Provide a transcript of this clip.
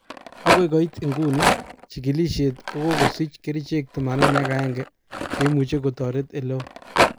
Okoi koit iguni, chikilishet kokokosich kerichek 81 cheimuche kotoret eleo.